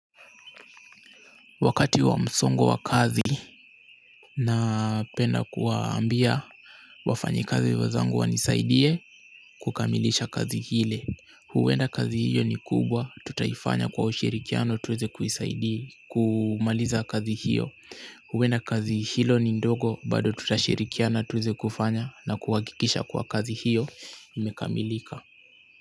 Wakati wa msongo wa kazi na penda kuwaambia wafanyikazi wezangu wanisaidie kukamilisha kazi ile. Huwenda kazi hiyo ni kubwa tutaifanya kwa ushirikiano tuweze kuisaidii kumaliza kazi hiyo. Huwenda kazi hilo ni ndogo bado tutashirikiano tuweze kufanya na kuhakikisha kuwa kazi hiyo imekamilika.